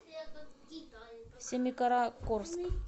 семикаракорск